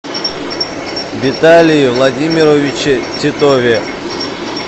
виталии владимировиче титове